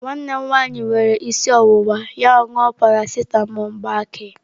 Nwanne m nwanyị were isi ọwụwa ya ṅụọ paracetamọ gbakee.